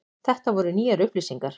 Þetta voru nýjar upplýsingar.